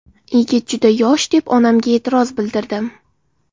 Yigit juda yosh deb onamga e’tiroz bildirdim.